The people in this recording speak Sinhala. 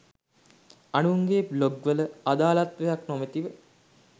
අනුන්ගේ බ්ලොග් වල අදාලත්වයක් නොමැතිව